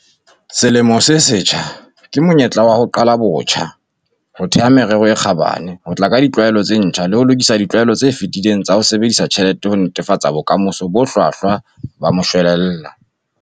Selemo se setjha ke monyetla wa ho qala botjha, ho theha merero e kgabane, ho tla ka ditlwaelo tse ntjha le ho lokisa ditlwaelo tse fetileng tsa ho sebedisa tjhelete ho netefatsa bokamoso bo hlwahlwa ba moshwelella.